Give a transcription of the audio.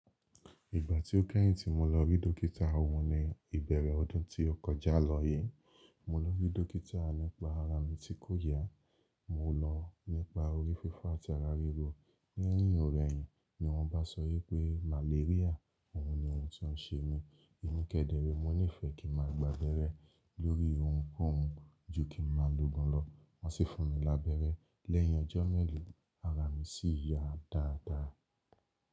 Ìgbà tí ó kẹ́yìn tí mo lọ rí dókítà ọun ni ìbẹ̀rẹ̀ ọdún tí ó kọjá lọ yìí. Mo lọ rí dókítà nípa ara mi tí kò yá, mo lọ nípa orí fífọ́ àti ara ríro. Lẹ́yìn ò rẹ̀yìn ni wọ́n bá sọ wípé màléríà ọ̀hún ni oun tí ó ń ṣe mí. Emi kedere mo nífẹ̀ẹ́ kí ma gbábẹ́rẹ́ lórí oun kọ́ oun ju kí ma logun lọ. Wọ́n sì fún mi labẹ́rẹ́ lẹ́yìn ọjọ́ mélòó ara mi sì yá dáadáa.